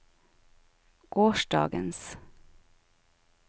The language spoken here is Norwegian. gårsdagens